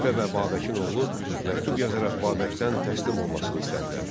Xəlifə və Babəkin oğlu məktub yazaraq Babəkdən təslim olmasını istədilər.